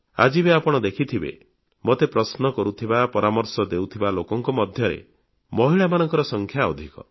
ଆଜି ବି ଆପଣ ଦେଖିଥିବେ ମୋତେ ପ୍ରଶ୍ନ କରୁଥିବା ପରାମର୍ଶ ଦେଉଥିବା ଲୋକଙ୍କ ମଧ୍ୟରେ ମହିଳାମାନଙ୍କ ସଂଖ୍ୟା ଅଧିକ